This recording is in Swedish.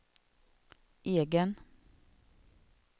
egen